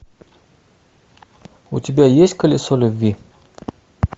у тебя есть колесо любви